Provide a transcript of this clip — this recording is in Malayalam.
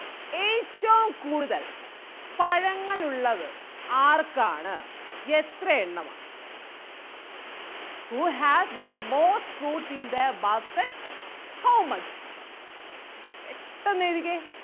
ഏറ്റവും കൂടുതൽ പഴങ്ങൾ ഉള്ളത് ആർക്കാണ് എത്രയെണ്ണമാണ്? Who has the most fruits in their basket how much പെട്ടെന്ന് എഴുതിക്കേ